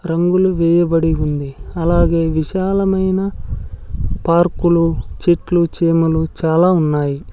రంగులు వేయబడి ఉంది అలాగే విశాలమైన పార్కు లో చెట్లు చేమలు చాలా ఉన్నాయి.